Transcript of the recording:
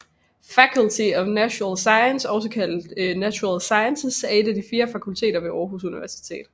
Faculty of Natural Sciences også kaldet Natural Sciences er et af de fire fakulteter ved Aarhus Universitet